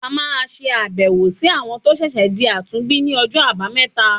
A máa ṣàbẹ̀wò sí àwọn tó ṣẹ̀ṣẹ̀ di àtúnbí ní ọjọ́ àbámẹ́ta.